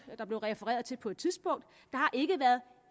blev refereret til på et tidspunkt